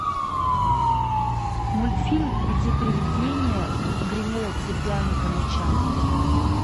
мультфильм где приведение гремело цепями по ночам